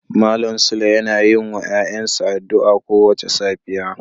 Malam sule yana yin wa ‘ya’yansa addu’a kowace safiya.